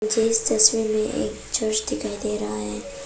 इस तस्वीर में एक चर्च दिखाई दे रहा है।